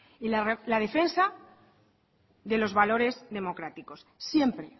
y la defensa de los valores democráticos siempre